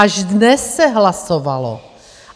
Až dnes se hlasovalo.